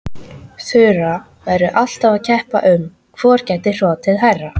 Þura væru alltaf að keppa um hvor gæti hrotið hærra.